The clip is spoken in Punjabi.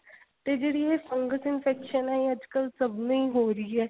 ਤੇ ਜਿਹੜੀ ਇਹ fungus infection ਏ ਇਹ ਅੱਜਕਲ ਸਭ ਨੂੰ ਹੀ ਹੋ ਰਹੀ ਏ